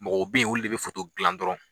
Mɔgɔw be yen olu de be gilan dɔrɔn